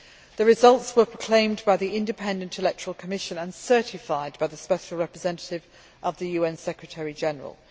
The results were proclaimed by the Independent Electoral Commission and certified by the special representative of the UN Secretary General.